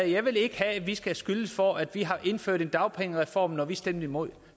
jeg vil ikke have at vi skal have skylden for at vi har indført en dagpengereform når vi stemte imod